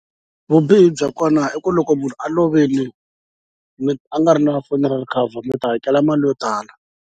Vubihi bya kona i ku loko munhu a lovile mi a nga ri na funeral cover mi ta hakela mali yo tala.